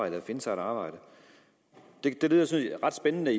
at finde sig at arbejde det lyder ret spændende